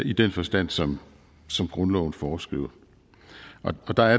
i den forstand som som grundloven foreskriver og der er